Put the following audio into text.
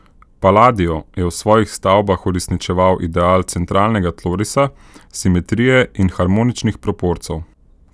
Palladio je v svojih stavbah uresničeval ideal centralnega tlorisa, simetrije in harmoničnih proporcev.